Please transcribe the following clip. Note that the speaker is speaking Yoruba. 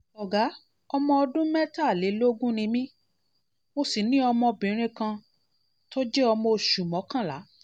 ọ̀gá ọmọ ọdún mẹ́tàlélógún ni mí mo sì ní ọmọbìnrin ní ọmọbìnrin kan tó jẹ́ ọmọ oṣù mọ́kànlá